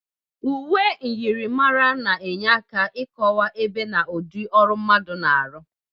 Uwe myịrịmara na-enye aka ịkọwa ebe na ụdị ọrụ mmadụ na-arụ.